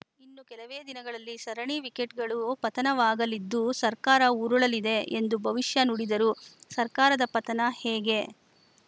ಇನ್ನು ಕೆಲವೇ ದಿನಗಳಲ್ಲಿ ಸರಣಿ ವಿಕೆಟ್‌ಗಳು ಪತನವಾಗಲಿದ್ದು ಸರ್ಕಾರ ಉರುಳಲಿದೆ ಎಂದು ಭವಿಷ್ಯ ನುಡಿದರು ಸರ್ಕಾರದ ಪತನ ಹೇಗೆ